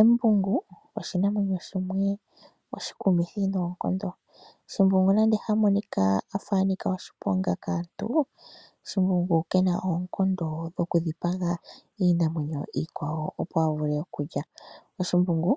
Embungu oshinamwenyo shimwe oshi ku mithi noonkondo. Shimbungu nande ha monika afa anika oshiponga kaantu, shimbungu kena oonkondo dho ku dhipaga iinamwenyo iikwawo opo avule okulya, shimbungu